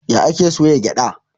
Ya ake soya gyaɗa?